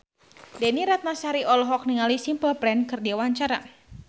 Desy Ratnasari olohok ningali Simple Plan keur diwawancara